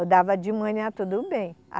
Eu dava de manhã tudo bem.